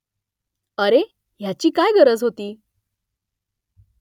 अरे , ह्याची काय गरज होती !